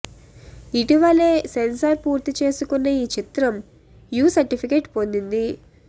ఇటీవలే సెన్సార్ పూర్తి చేసుకున్న ఈ చిత్రం యు సర్టిఫికెట్ పొందింది